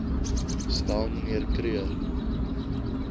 stel mnr kruger